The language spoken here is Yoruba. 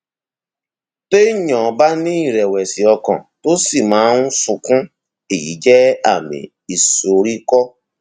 téèyàn bá ní ìrẹwẹsì ọkàn tó sì máa ń sunkún èyí jẹ àmì ìsoríkọ